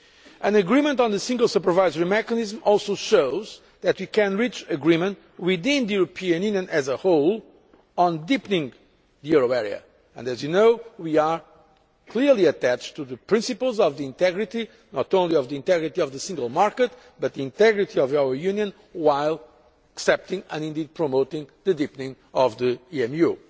An agreement on the Single Supervisory Mechanism also shows that we can reach agreement within the European Union as a whole on deepening the euro area, and as you know we are clearly attached to the principles of the integrity not only of the integrity of the Single Market but the integrity of our Union while accepting and indeed promoting the deepening of the EMU.